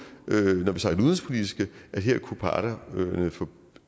at her kunne parterne få